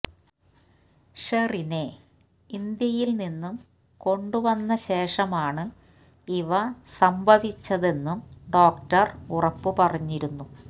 ഷെറിനെ ഇന്ത്യയില് നിന്നും കൊണ്ടുവന്ന ശേഷമാണ് ഇവ സംഭവിച്ചതെന്നും ഡോക്ടര് ഉറപ്പു പറഞ്ഞിരുന്നു